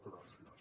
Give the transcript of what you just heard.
gràcies